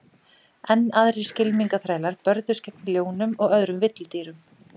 Enn aðrir skylmingaþrælar börðust gegn ljónum og öðrum villidýrum.